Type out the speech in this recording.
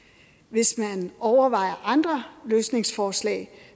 hvis man overvejer andre løsningsforslag